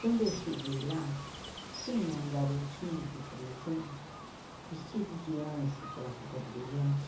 Quando eu cheguei lá, tinha um garotinho de três anos vestido de anjo, aquela roupa brilhante.